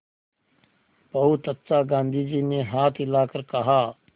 बहुत अच्छा गाँधी जी ने हाथ हिलाकर कहा